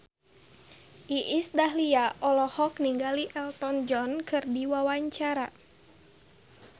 Iis Dahlia olohok ningali Elton John keur diwawancara